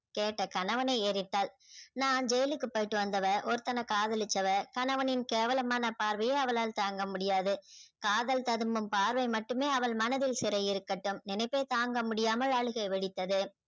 கெட்ட கணவனை நான் ஜெயிலுக்கு போய்ட்டு வந்தவ ஒருத்தனை காதலிச்சவ கணவனின் கேவலமான பார்வையை அவளால் தாங்க முடியாது காதல் பார்வை மட்டுமே அவள் மனதில் சிறை இருக்கட்டும் நினைப்பை தாங்க முடியாமல் அழுகை வெடித்தது